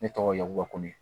Ne tɔgɔ yakuba ko n